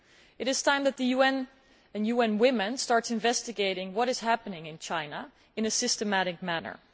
It is time that the UN, and UN Women, started investigating what is happening in China in a systematic manner.